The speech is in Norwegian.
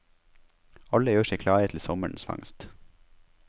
Alle gjør seg klare til sommerens fangst.